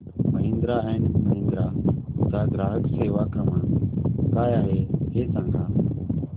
Mahindra and Mahindra चा ग्राहक सेवा क्रमांक काय आहे हे सांगा